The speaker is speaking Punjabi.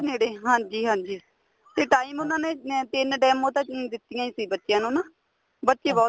ਨੇੜੇ ਹਾਂਜੀ ਹਾਂਜੀ ਤੇ time ਉਹਨਾ ਨੇ ਤਿੰਨ demo ਤਾਂ ਦਿੱਤੀਆਂ ਸੀ ਬੱਚਿਆਂ ਨੂੰ ਨਾ ਬੱਚੇ ਬਹੁਤ